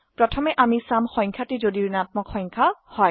প্ৰথমে আমি চাম সংখ্যাটি যদি ঋণাত্মক সংখ্যা হয়